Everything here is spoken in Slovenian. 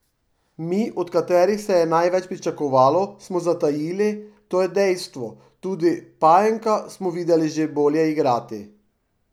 Mi, od katerih se je največ pričakovalo, smo zatajili, to je dejstvo, tudi Pajenka smo videli že bolje igrati.